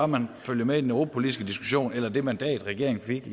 man følger med i den europapolitiske diskussion eller det mandat regeringen fik